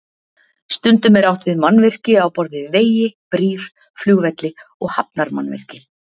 Stundum er átt við mannvirki á borð við vegi, brýr, flugvelli og hafnarmannvirki.